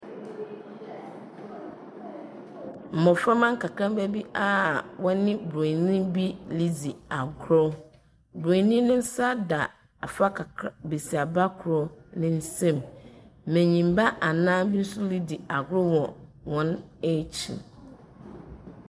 Mmoframma nkrakraba bi a wɔne broni bi redze agor. Broni no nsa da basiaba koro nsam. M'anyi ba anan so redze agor wɔ wɔn akyi.